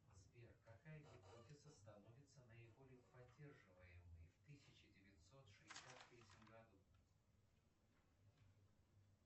сбер какая гипотеза становится наиболее поддерживаемой в тысяча девятьсот шестьдесят третьем году